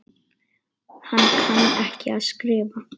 Hann kann ekki að skrifa.